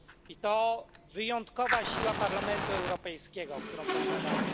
I to wyjątkowa siła Parlamentu Europejskiego, którą posiadamy.